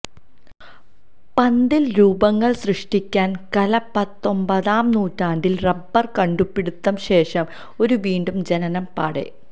പന്തിൽ രൂപങ്ങൾ സൃഷ്ടിക്കാൻ കല പത്തൊമ്പതാം നൂറ്റാണ്ടിൽ റബ്ബർ കണ്ടുപിടുത്തം ശേഷം ഒരു വീണ്ടും ജനനം പാടേ